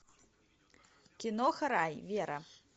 киноха рай вера